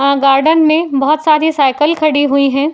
अ garden में बहोत सारी साइकिल खड़ी हुई हैं।